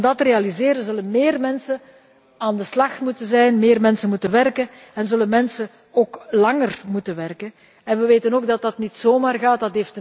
Maar om dat te realiseren zullen meer mensen aan de slag moeten, meer mensen moeten werken en zullen mensen ook langer moeten werken en wij weten ook dat dat niet zomaar gaat.